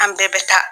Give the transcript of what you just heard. An bɛɛ bɛ taa